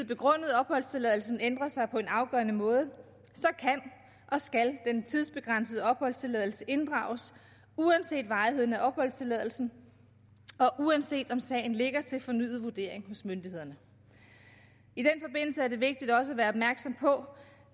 begrundede opholdstilladelsen ændret sig på en afgørende måde kan og skal den tidsbegrænsede opholdstilladelse inddrages uanset varigheden af opholdstilladelsen og uanset om sagen ligger til fornyet vurdering hos myndighederne i det vigtigt også at være opmærksom på